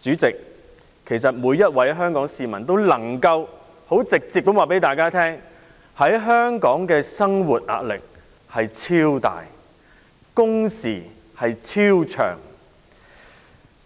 主席，每位香港市民都能夠很直接的告訴大家，在香港生活的壓力超多、工時超長。